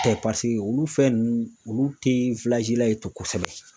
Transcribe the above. Tɛ paseke olu fɛn nunnu olu tɛ yen tɛ kosɛbɛ.